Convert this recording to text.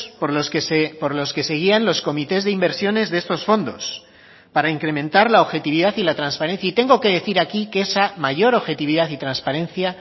por los que se guían los comités de inversiones de estos fondos para incrementar la objetividad y la transparencia y tengo que decir aquí que esa mayor objetividad y transparencia